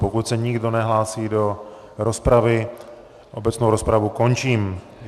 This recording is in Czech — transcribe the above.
Pokud se nikdo nehlásí do rozpravy, obecnou rozpravu končím.